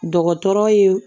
Dɔgɔtɔrɔ ye